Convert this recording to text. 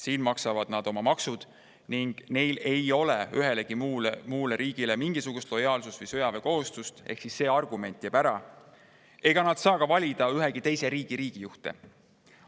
Siin maksavad nad oma maksud ning neil ei ole ühegi muu riigi ees mingisugust lojaalsus- või sõjaväekohustust – ehk siis see argument jääb ära – ja nad ei saa ka valida ühegi teise riigi juhte.